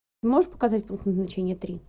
можешь показать пункт назначения три